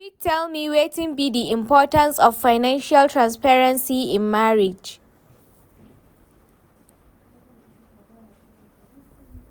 you fit tell me wetin be di importance of financial transparency in marriage?